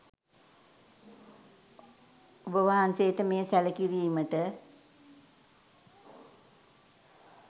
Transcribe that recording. ඔබවහන්සේට මෙය සැළකිරීමට